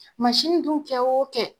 Masini dun kɛ o kɛ